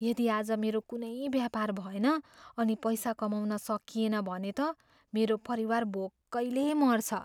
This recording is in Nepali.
यदि आज मेरो कुनै व्यापार भएन अनि पैसा कमाउन सकिएन भने त मेरो परिवार भोकैले मर्छ।